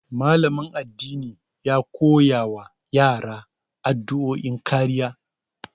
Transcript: Malamin addini ya koya wa yara addu'o'in kariya.